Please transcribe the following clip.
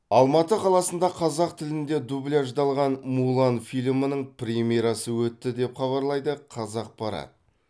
алматы қаласында қазақ тілінде дубляждалған мулан фильмінің премьерасы өтті деп хабарлайды қазақпарат